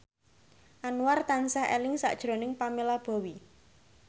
Anwar tansah eling sakjroning Pamela Bowie